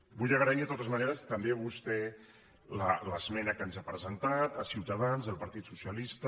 vull agrair de totes maneres també a vostè l’esmena que ens ha presentat a ciutadans i al partit socialista